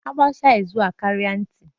A gbaacha izu a kaara nti